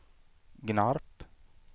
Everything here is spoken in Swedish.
Gnarp